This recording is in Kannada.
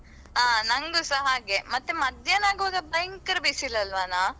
ಆ ನಂಗೂಸ ಹಾಗೆ ಮತ್ತೆ ಮಧ್ಯಾಹ್ನ ಆಗುವಾಗ ಭಯಂಕರ ಬಿಸಿಲಲ್ವನ.